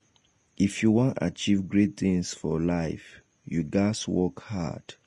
if you wan achieve great things for life you ghas work hard